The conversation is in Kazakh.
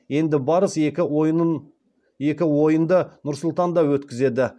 енді барыс екі ойынды нұр сұлтанда өткізеді